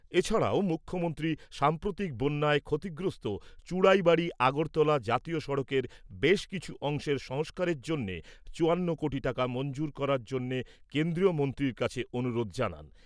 এছাড়াও, মুখ্যমন্ত্রী সাম্প্রতিক বন্যায় ক্ষতিগ্রস্ত চুড়াইবাড়ি আগরতলা জাতীয় সড়কের বেশ কিছু অংশের সংস্কারের জন্যে চুয়ান্ন কোটি টাকা মঞ্জুর করার জন্যে কেন্দ্রীয় মন্ত্রীর কাছে অনুরোধ জানান।